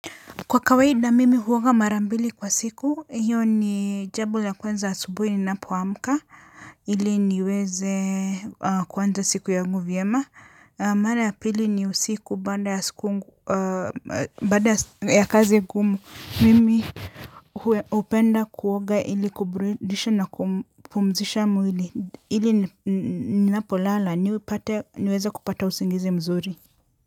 Kwa kawaida mimi huoga mara mbili kwa siku hiyo ni jambo la kwanza asubui ninapoamka ili niweze kuanza siku yangu vyema mara ya pili ni usiku baada ya kazi ngumu mimi hupenda kuoga ili kuburidisha na kupumzisha mwili ili ninapo lala niweze kupata usingizi mzuri.